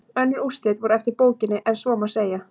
Önnur úrslit voru eftir bókinni ef svo má segja.